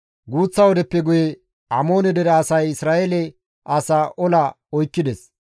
Guuththa wodeppe guye Amoone dere asay Isra7eele asaa ola oykkides.